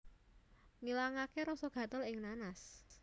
Ngilangaké rasa gatel ing nanas